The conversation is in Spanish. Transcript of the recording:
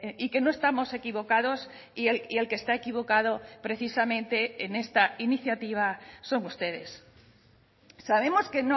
y que no estamos equivocados y el que está equivocado precisamente en esta iniciativa son ustedes sabemos que